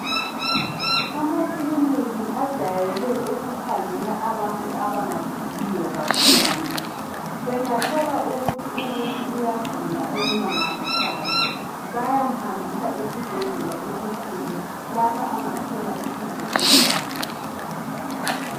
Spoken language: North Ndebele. Amakiliniki ajwayele ukukhangela abantu abangaguliyo kakhulu. Bangathola ukuthi muntu ugula okumangalisayo bayamhambisa esibhedlela esikhulu lapha angathola usizo olungcono.